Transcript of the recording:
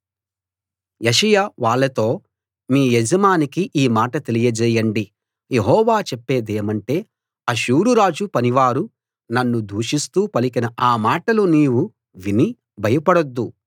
యెషయా వాళ్ళతో మీ యజమానికి ఈ మాట తెలియజేయండి యెహోవా చెప్పేదేమంటే అష్షూరురాజు పనివారు నన్ను దూషిస్తూ పలికిన ఆ మాటలు నీవు విని భయపడొద్దు